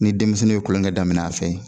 Ni denmisɛnninw ye kolonkɛ daminɛ a fɛ.